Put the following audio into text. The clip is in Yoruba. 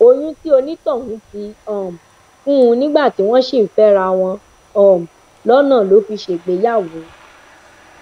oyún tí onítọhún ti um fún un nígbà tí wọn sì ń fẹra wọn um lọnà ló fi ṣègbéyàwó